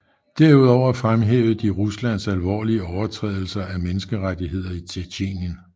Derudover fremhævede de Ruslands alvorlige overtrædelser af menneskerettigheder i Tjetjenien